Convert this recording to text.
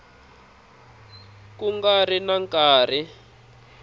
ku nga ri na nkarhi